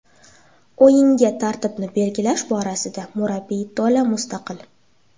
O‘yinga tarkibni belgilash borasida murabbiy to‘la mustaqil.